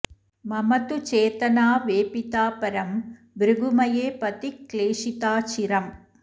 मम तु चेतना वेपिता परं भृगुमये पथि क्लेशिता चिरम्